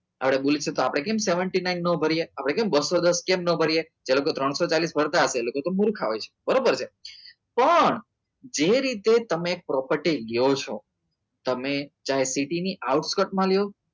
આપણે કેમ seventy nine ન કરીએ આપણે કેમ બસો દસ કેમ ન ભરીએ એ લોકો ત્રણસો ચાલીસ કરતાં હશે તો તમે મૂર્ખાવો છો બરોબર છે પણ જે રીતે તમે property લ્યો છો તમે ચાહે ટેટી ની out કટમાં લો